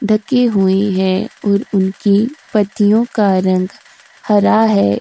ढ़के हुए हैं और उनकी पत्तियों का रंग हरा है।